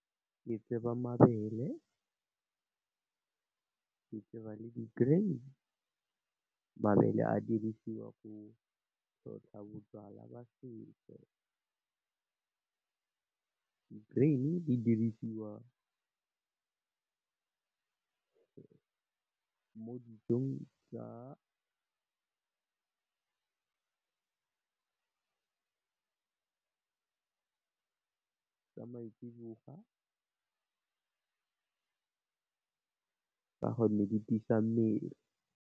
Ke tseba mabele, ke tseba le di-grain, mabele a dirisiwa go tlhotlha bojwala ba setso, di-grain di dirisiwa mo dijong tsa maitsibowa ka gonne di tiisa mmele.